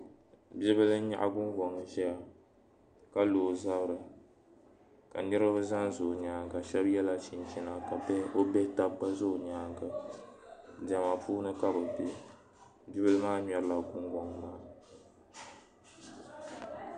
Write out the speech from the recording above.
Bibil nyaɣi gungɔŋ ʒɛya ka lo o zabiri ka niriba zanzan o nyaanga shɛb yɛla chinchina ka o bihi taba gba za o nyaanga diɛma puuni ka bɛ be bibil maa ŋmɛrila gungɔŋ maa